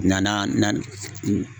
Nka na na n